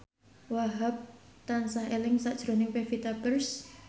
Wahhab tansah eling sakjroning Pevita Pearce